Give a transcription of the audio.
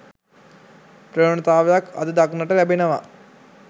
ප්‍රවණතාවක් අද දක්නට ලැබෙනවා